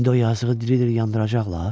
İndi o yazıqı diri-diri yandıracaqlar?